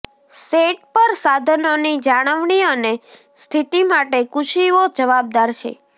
set પર સાધનોની જાળવણી અને સ્થિતિ માટે કુશીઓ જવાબદાર છે